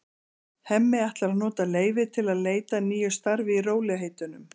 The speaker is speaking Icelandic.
Hemmi ætlar að nota leyfið til að leita að nýju starfi í rólegheitunum.